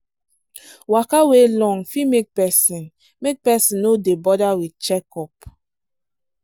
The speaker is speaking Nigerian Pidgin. waka wey long fit make person make person no dey bother with checkup.